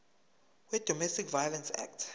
wedomestic violence act